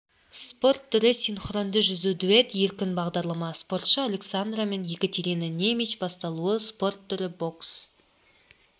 спорт түрі синхронды жүзу дуэт еркін бағдарлама спортшы александра мен екатерина немич басталуы спорт түрі бокс